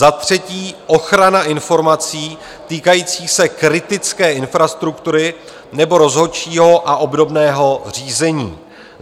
Za třetí ochrana informací týkajících se kritické infrastruktury nebo rozhodčího a obdobného řízení.